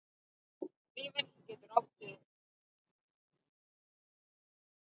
Vífill getur átt við